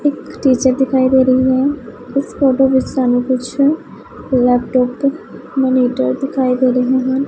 ਇੱਕ ਟੀਚਰ ਦਿਖਾਈ ਦੇ ਰਹੀ ਹੈ ਇਸ ਫੋਟੋ ਵਿੱਚ ਸਾਨੂੰ ਕੁਝ ਲੈਪਟਾਪ ਤੇ ਮੋਨੀਟਰ ਦਿਖਾਈ ਦੇ ਰਹੇ ਹਨ।